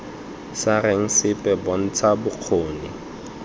sa reng sepe bontsha bokgoni